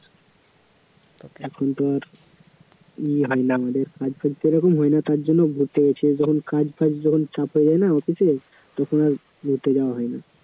এখন তো আর ই হয় না আমাদের হয় না তারজন্য ঘুরতে গেছি, যখন কাজফাজ যখন চাপ হয়ে যায় না office এ তখন আর ঘুরতে যাওয়া হয় না